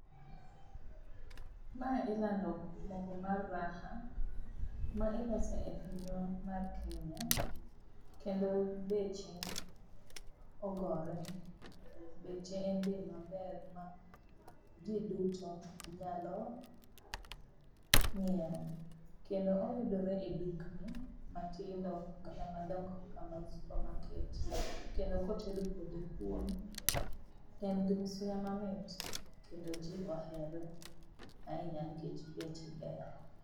Mae ilando mogo mar Raha, ma iloso e pinywa mar Kenya. Kendo beche ogore beche en bei maber ma jii duto nyalo ng'iew. Kendo oyudore e dukni matindo kata madongo ka mag supermarket kendo koted kode kuon to en gi suya mamit kendo jii ohere ahinya nikech beche ber